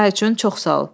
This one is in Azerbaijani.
Çay üçün çox sağ ol.